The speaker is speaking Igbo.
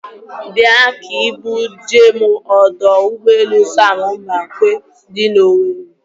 Bịa ka ị bu jee m ọdọ ụgbọelu Sam Mbakwe dị n'Owere.